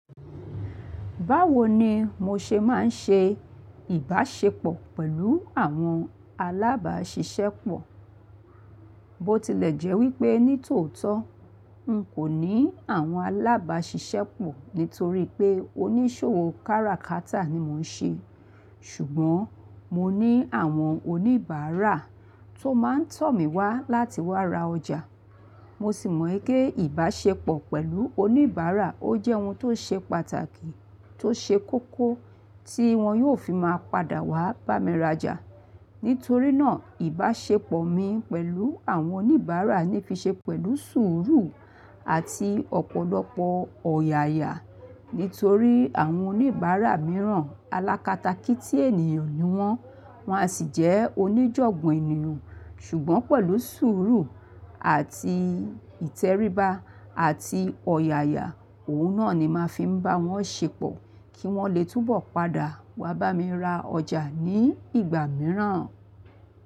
Báwo ni mo ṣe máa ń ṣe ìbáṣepọ̀ pẹ̀lú àwọn alábáṣiṣẹ́pọ̀? Bó tilẹ̀ jẹ́ wípé ní tòótọ́ n kò ní àwọn alábáṣiṣẹ́pọ̀ nítorí pé oníṣòwò kára-kátà ni mò ń ṣe, ṣùgbọ́n mo ní àwọn oníbàárà tó máa ń tọ̀ mí wá láti wá ra ọjà. Mo sì mọ̀ gẹ́ ìbáṣepọ̀ pẹ̀lú oníbàárà ó jẹ́ ohun tó ṣe pàtàkì tó ṣe kókó tí wọn yóò fi máa padà wá bá mi rajà. Nítorí náà ìbáṣepọ̀ mi pẹ̀lú àwọn oníbàárà ní fi ṣe pẹ̀lú sùúrù àti ọ̀pọ̀lọpọ̀ ọ̀yàyà. Nítorí àwọn oníbàárà mìíràn alákata kí tí ènìyàn ni wọ́n, wọ́n a sì jẹ́ oníjọ̀gbọ́n ènìyàn. Ṣùgbọ́n pẹ̀lú sùúrù àti ìtẹríba àti ọ̀yàyà, òun náà ni màá fi ń bá wọn ṣepọ̀ kí wọ́n le túbọ̀ padà wá bá mi ra ọjà ní ìgbà mìíràn.